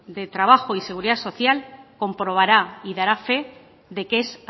de trabajo y seguridad social comprobara y dará fe de que es